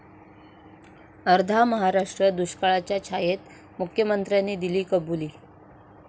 अर्धा महाराष्ट्र दुष्काळाच्या छायेत, मुख्यमंत्र्यांनी दिली कबुली